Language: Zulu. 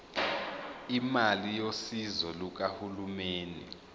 imali yosizo lukahulumeni